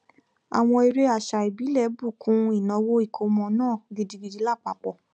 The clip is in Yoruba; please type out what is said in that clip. àwọn eré àṣà ìbílẹ bù kún ìnáwó ìkómọ náà gidigidi lápapọ